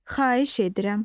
Xahiş edirəm.